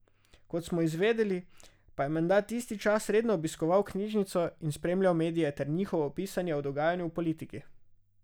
Kot smo izvedeli, pa je menda tisti čas redno obiskoval knjižnico in spremljal medije ter njihovo pisanje o dogajanju v politiki.